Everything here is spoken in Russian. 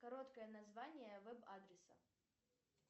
короткое название веб адреса